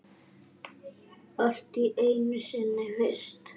Allt er einu sinni fyrst.